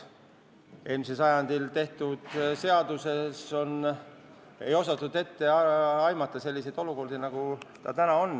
Eelmisel sajandil seda seadust tehes ei osatud ette aimata sellist olukorda, nagu nüüd on tekkinud.